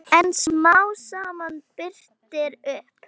En smám saman birtir upp.